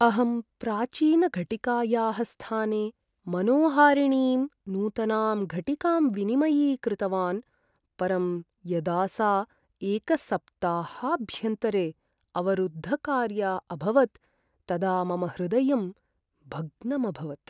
अहं प्राचीनघटिकायाः स्थाने मनोहारिणीं नूतनां घटिकां विनिमयीकृतवान्, परं यदा सा एकसप्ताहाभ्यन्तरे अवरुद्धकार्या अभवत् तदा मम हृदयं भग्नम् अभवत्।